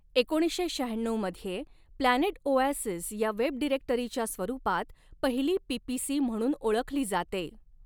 एकोणीसशे शहाण्णऊ मध्ये प्लॅनेट ओॲसिस या वेब डिरेक्टरीच्या स्वरूपात पहिली पीपीसी म्हणून ओळखली जाते.